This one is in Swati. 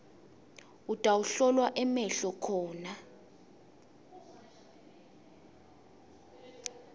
utawuhlolwa emehlo khona